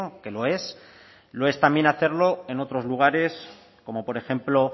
que lo es lo es también hacerlo en otros lugares como por ejemplo